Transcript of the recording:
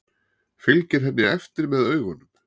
Fylgir henni eftir með augunum.